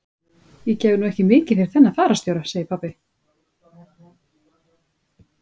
Ég gef nú ekki mikið fyrir þennan fararstjóra, segir pabbi.